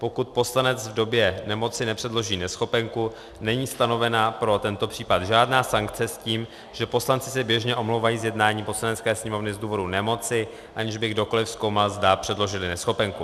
Pokud poslanec v době nemoci nepředloží neschopenku, není stanovena pro tento případ žádná sankce s tím, že poslanci se běžně omlouvají z jednání Poslanecké sněmovny z důvodu nemoci, aniž by kdokoliv zkoumal, zda předložili neschopenku.